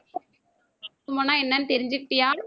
என்னன்னு தெரிஞ்சுகிட்டயா?